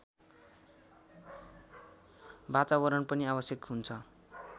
वातावरण पनि आवश्यक हुन्छ